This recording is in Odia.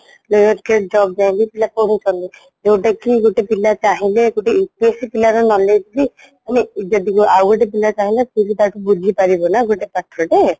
state job ପାଇଁ ବି ପଢୁଛନ୍ତି ଯୋଉଁଟାକି ଗୋଟେ ପିଲା ଚାହିଁଲେ ଗୋଟେ UPSEପିଲାର knowledge ବି ମାନେ ଯଦି ଆଉଗୋଟିଏ ପିଲା ଚାହିଁଲା ସିଏବି ତାଠୁ ବୁଝିପାରିବନା ଗୋଟେ ପାଠଟେ